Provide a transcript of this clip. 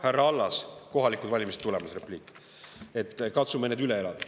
Härra Allas, kohalikud valimised on tulemas – see on repliik –, katsume need üle elada.